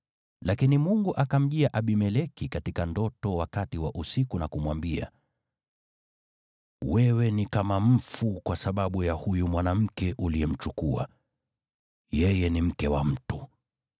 Lakini Mungu akamjia Abimeleki katika ndoto wakati wa usiku na kumwambia, “Wewe ni kama mfu kwa sababu ya huyu mwanamke uliyemchukua; yeye ni mke wa mtu.”